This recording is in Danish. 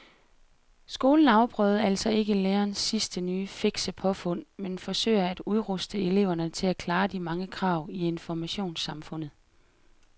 Skolen afprøver altså ikke lærernes sidste nye fikse påfund men forsøger at udruste eleverne til at klare de mange krav i informationssamfundet.